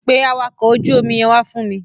Pe àwakọ̀ ojú omi yẹn wá fún mi.